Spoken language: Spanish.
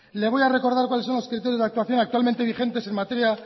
le voy a recordar cuales son los criterios de actuación actualmente vigentes en materia